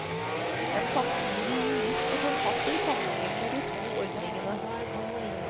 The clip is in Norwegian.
En samtidig jurist og forfatter sammenlikner de to ordningene.